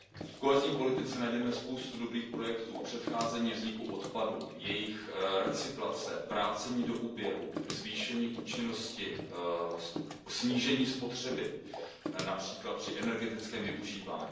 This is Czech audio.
V kohezní politice najdeme spoustu dobrých projektů, předcházení vzniku odpadů, jejich recyklace, vrácení do oběhu, zvýšení účinnosti, snížení spotřeby, např. při energetickém využívání.